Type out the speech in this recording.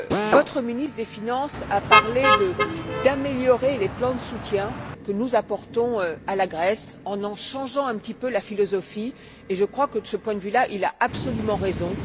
Votre ministre des finances a parlé d'améliorer les plans de soutien que nous apportons à la Grèce en en changeant un petit peu la philosophie, et je crois, que de ce point de vue là, il a absolument raison.